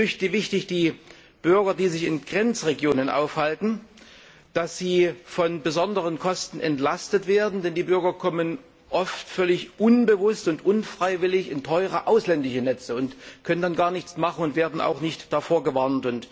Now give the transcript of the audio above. Es ist wichtig, dass die Bürger, die sich in Grenzregionen aufhalten, von besonderen Kosten entlastet werden. Denn die Bürger kommen oft völlig unbewusst und unfreiwillig in teure ausländische Netze und können dann gar nichts machen und werden auch nicht davor gewarnt.